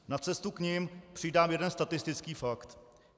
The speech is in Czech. Na cestu k nim přidám jeden statistický fakt.